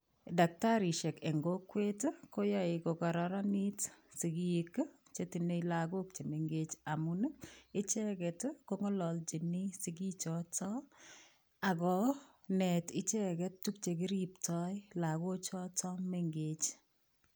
Dakitariisheek eng kokwet ii koyae kokararaniit sigiik ii che tinyei lagook chemengeech ii amuun ichegeet ko ngalaljiin sigiik chotoon ako neet ichegeet tuguk che kiriptoi lagook chotoon mengeech.